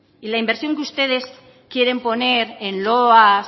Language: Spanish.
y la inversión que ustedes quieren poner en loas